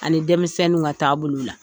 Ani denmisɛnninw ka taabolow la